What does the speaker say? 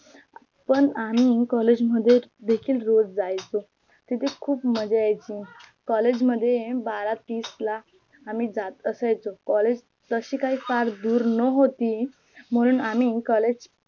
पण आम्ही COLLEGE मध्ये देखील रोज जायचो तिथे खूप मज्जा यायची COLLEGE मध्ये बारा तिसला आम्ही जात असायचो COLLEGE तशी काही फार दुर नव्हती म्हणून आम्ही COLLEGE